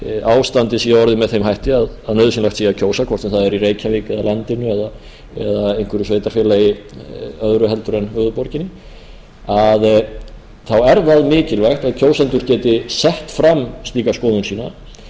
ástandið sé orðið með þeim hætti að nauðsynlegt sé að kjósa hvort sem það er í reykjavík eða á landinu eða í einhverju sveitarfélagi öðru en höfuðborginni þá er það mikilvægt að kjósendur geti sett fram slíka skoðun sína